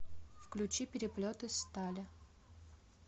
включи переплет из стали